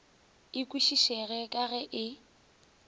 e kwešišege ka ge e